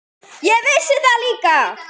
Ég vissi það líka.